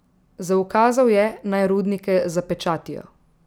Zaukazal je, naj rudnike zapečatijo.